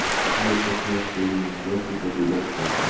и если сможешь соединить локти то ты доска